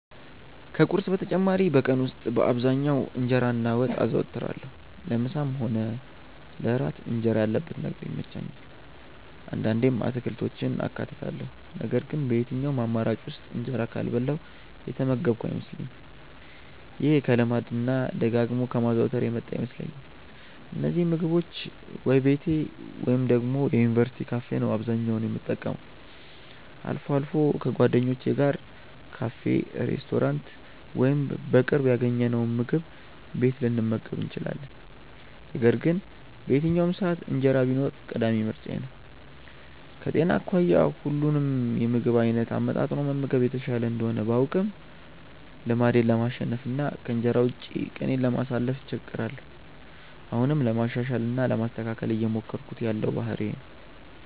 ከቁርስ በተጨማሪ በቀን ውስጥ በአብዛኛው እንጀራ እና ወጥ አዘወትራለሁ። ለምሳም ሆነ ለእራት እንጀራ ያለበት ነገር ይመቸኛል። አንዳንዴም አትክልቶችን አካትታለሁ ነገር ግን በየትኛውም አማራጭ ውስጥ እንጀራ ካልበላሁ የተመገብኩ አይመስለኝም። ይሄ ከልማድ እና ደጋግሞ ከማዘውተር የመጣ ይመስለኛል። እነዚህን ምግቦች ወይ ቤቴ ወይ ደግሞ የዩኒቨርስቲ ካፌ ነው አብዛኛውን የምጠቀመው። አልፎ አልፎ ከጓደኞቼ ጋር ካፌ፣ ሬስቶራንት ወይም በቅርብ ያገኘነውምግብ ቤት ልንመገብ እንችላለን። ነገር ግን በየትኛውም ሰዓት እንጀራ ቢኖር ቀዳሚ ምርጫዬ ነው። ከጤና አኳያ ሁሉንም የምግብ አይነት አመጣጥኖ መመገብ የተሻለ እንደሆነ ባውቅም ልማዴን ለማሸነፍ እና ከእንጀራ ውጪ ቀኔን ለማሳለፍ እቸገራለሁ። አሁንም ለማሻሻል እና ለማስተካከል እየሞከርኩት ያለው ባህሪዬ ነው።